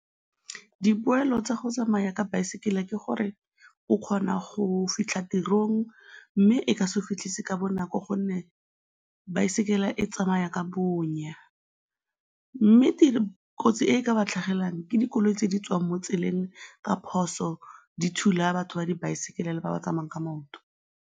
Dipoelo tsa go tsamaya ka baesekele ke gore o kgona go fitlha tirong mme e ka se go fitlhise ka bonako gonne baesekele e tsamaya ka bonya. Mme kotsi e ka ba tlhagelang ke dikoloi tse di tswang mo tseleng ka phoso, di thula batho ba dibaesekele le ba ba tsamayang ka maoto.